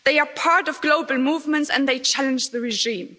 They are part of global movements, and they challenge the regime.